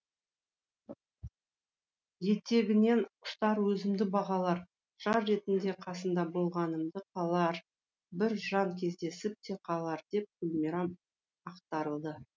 етегінен ұстар өзімді бағалар жар ретінде қасында болғанымды қалар бір жан кездесіп те қалар деп гүлмирам ақтарылды